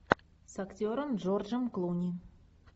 с актером джорджем клуни